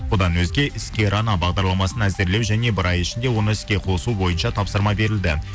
бұдан өзге іскер ана бағдарламасын әзірлеу және бір ай ішінде оны іске қосу бойынша тапсырма берілді